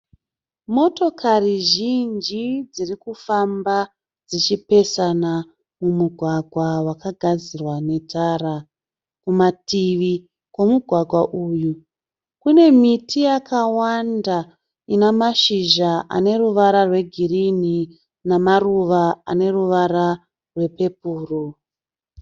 Motokari zhinji dziri kufamba dzichipesana mumugwagwa wakagadzirwa netara. Kumativi kwemugwagwa uyu kune miti yakawanda ine mashizha ane ruvara rwegirinhi namaruva ane ruvara rwepepuro.